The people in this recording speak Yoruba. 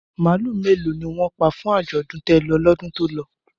Màálù mélòó ni wọ́n pa fún àjọ̀dún télọ̀ lọ́dún tó lọ?